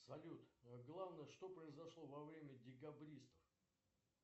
салют главное что произошло во время декабристов